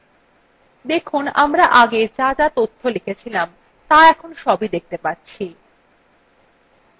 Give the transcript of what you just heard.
দেখুন আমরা আগে যা তথ্য লিখেছিলাম ত়া এখন দেখতে পাচ্ছি